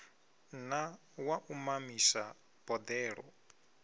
na wa u mamisa boḓelo